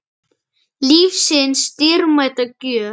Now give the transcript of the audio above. Lífsins dýrmæta gjöf.